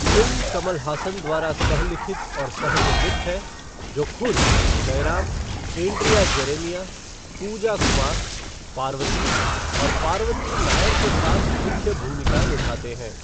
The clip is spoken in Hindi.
फ़िल्म कमल हासन द्वारा सह लिखित और सह निर्मित है, जो खुद जयराम, एंड्रिया जेरेमिया, पूजा कुमार, पार्वती और पार्वती नायर के साथ मुख्य भूमिका निभाते हैं।